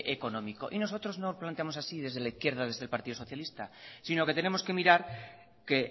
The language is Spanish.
económico y nosotros no planteamos así desde la izquierda desde el partido socialista sino que tenemos que mirar que